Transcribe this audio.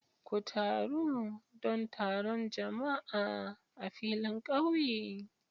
Ku taru don taron jama'a a filin kauye.